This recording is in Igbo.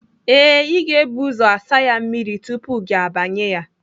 Ee, ị ga-ebu ụzọ asa ya mmiri tupu gị abanye ya.